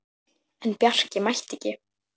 En Bjarki mætti ekki.